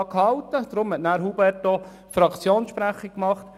Deshalb hat Grossrat Hubert Klopfenstein als Fraktionssprecher gesprochen.